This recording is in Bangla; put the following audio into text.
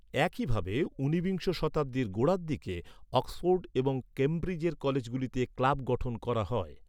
একইভাবে, ঊনবিংশ শতাব্দীর গোড়ার দিকে অক্সফোর্ড এবং ক্যামব্রিজের কলেজগুলিতে ক্লাব গঠন করা হয়।